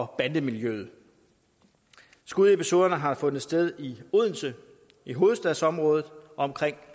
bande miljøet skudepisoderne har fundet sted i odense i hovedstadsområdet og omkring